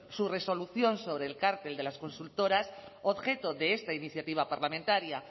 su resolución sobre el cartel de las consultoras objeto de esta iniciativa parlamentaria